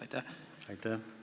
Aitäh!